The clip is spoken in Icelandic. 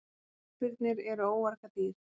Ísbirnir eru óargadýr.